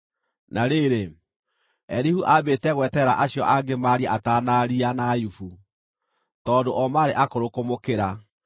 Na rĩrĩ, Elihu aambĩte gweterera acio angĩ maarie atanaaria na Ayubu, tondũ o maarĩ akũrũ kũmũkĩra.